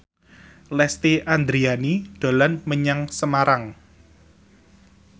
Lesti Andryani dolan menyang Semarang